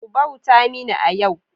Ku bauta mini a yau!